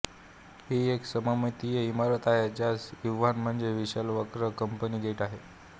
ही एक सममितीय इमारत आहे ज्यास इव्हान म्हणजे विशाल वक्र कमानी गेट आहे